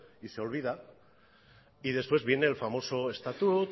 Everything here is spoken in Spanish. y se olvida y después viene el famoso estatut